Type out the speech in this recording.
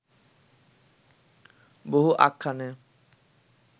বহু আখ্যানে